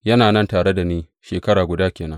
Yana nan tare da ni shekara guda ke nan.